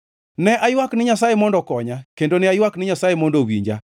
Ne aywak ni Nyasaye mondo okonya, kendo ne aywak ni Nyasaye mondo owinja.